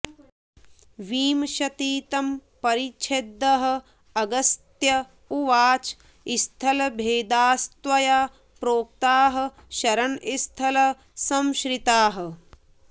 विंशतितम परिच्छेदः अगस्त्य उवाच स्थलभेदास्त्वया प्रोक्ताः शरणस्थल संश्रिताः